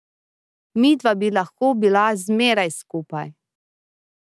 Midva bi lahko bila zmeraj skupaj.